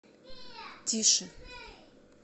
тише